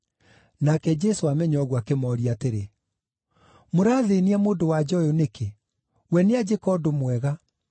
Nake Jesũ aamenya ũguo, akĩmooria atĩrĩ, “Mũrathĩĩnia mũndũ-wa-nja ũyũ nĩkĩ? We nĩanjĩka ũndũ mwega.